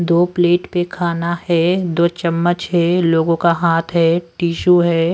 दो प्लेट पे खाना है दो चम्मच है लोगों का हाथ है टिशू है।